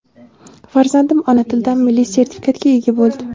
Farzandim ona tilidan milliy sertifikatga ega bo‘ldi.